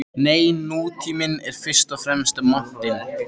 Nei, nútíminn er fyrst og fremst montinn.